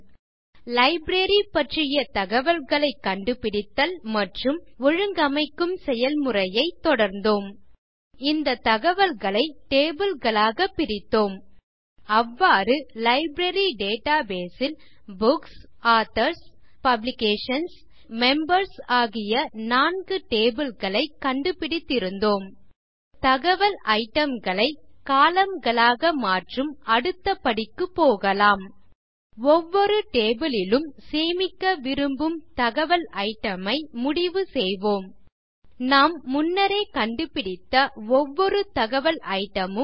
பின் library பற்றிய தகவல்களை கண்டுபிடித்தல் மற்றும் ஒழுங்கமைக்கும் செயல்முறையைத் தொடர்ந்தோம் பின் இந்த தகவல்களை டேபிள் களாக பிரித்தோம் அவ்வாறு லைப்ரரி டேட்டாபேஸ் ல் புக்ஸ் ஆதர்ஸ் பப்ளிகேஷன்ஸ் மற்றும் மெம்பர்ஸ் ஆகிய நான்கு டேபிள் களைக் கண்டுபிடித்திருந்தோம் இப்போது தகவல் ஐட்டம் களை கோலம்ன் களாக மாற்றும் அடுத்த படிக்கு போகலாம் ஒவ்வொரு டேபிள் லிலும் சேமிக்க விரும்பும் தகவல் ஐட்டம் ஐ முடிவு செய்வோம் நாம் முன்னரே கண்டுபிடித்த ஒவ்வொரு தகவல் ஐட்டம் மும்